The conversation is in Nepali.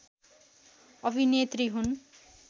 अभिनेत्री हुन्